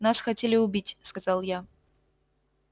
нас хотели убить сказал я